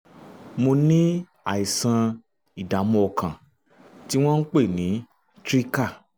mo ní àìsàn ìdààmú ọkàn tí wọ́n ń pè ní trika